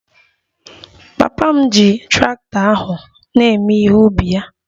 Papa m ji traktọ ahụ na-ewe ihe ubi ya